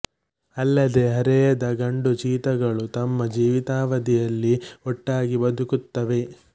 ಅಲ್ಲದೇ ಹರೆಯದ ಗಂಡು ಚೀತಾಗಳು ತಮ್ಮ ಜೀವಿತಾವಧಿಯಲ್ಲಿ ಒಟ್ಟಾಗಿ ಬದುಕುತ್ತವೆ